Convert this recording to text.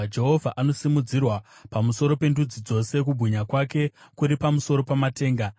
Jehovha anosimudzirwa pamusoro pendudzi dzose; kubwinya kwake kuri pamusoro pamatenga.